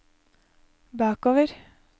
bakover